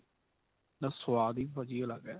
ਦਾ ਸਵਾਦ ਹੀ ਭਾਜੀ ਅਲੱਗ ਏ